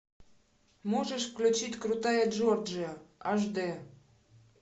можешь включить крутая джорджия аш д